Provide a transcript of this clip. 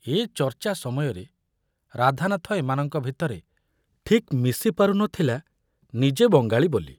ଏ ଚର୍ଚ୍ଚା ସମୟରେ ରାଧାନାଥ ଏମାନଙ୍କ ଭିତରେ ଠିକ ମିଶିପାରୁ ନଥିଲା ନିଜେ ବଙ୍ଗାଳୀ ବୋଲି।